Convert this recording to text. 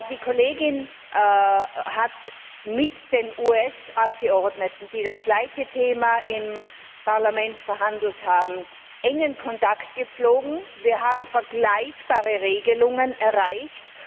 Die Kollegin hat mit den US Abgeordneten, die das gleiche Thema im Parlament verhandelt haben, engen Kontakt gepflegt, wir haben vergleichbare Regelungen erreicht.